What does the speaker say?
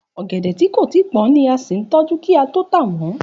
Ọ̀gẹ̀dẹ̀ ti ko tí pón ni a sí n tójú ki a to ta won.